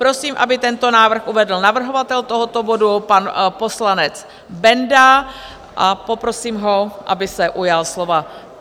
Prosím, aby tento návrh uvedl navrhovatel tohoto bodu, pan poslanec Benda, a poprosím ho, aby se ujal slova.